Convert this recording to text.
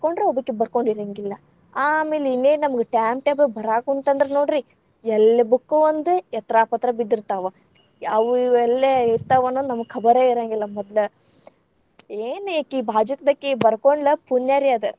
ಬರಕೊಂಡ್ರ ಒಬ್ಬೇಕಿ ಬರ್ಕೊಂಡಿರೆಂಗಿಲ್ಲಾ ಆಮೇಲ್‌ ಇನ್ನೇನ ನಮಗ್‌ time table ಬರ್ರಾಕುಂತಂದ್ರ ನೋಡ್ರಿ ಎಲ್ಲೇ book ಓ ಒಂದ ಎತ್ರಾಪತ್ರಾ ಬಿದ್ದಿರ್ತಾವ. ಅವು ಇವು ಎಲ್ಲೇ ಇರ್ತಾವ ಅನ್ನೋದ್‌ ನಮಗ್‌ ಖಬರೇ ಇರೆಂಗಿಲ್ಲಾ ಮದ್ಲ. ಏನ್‌ ಇಕಿ ಬಾಜುಕದಕಿ ಬರಕೊಂಡ್ಲ ಪುಣ್ಯಾರೀ ಅದ.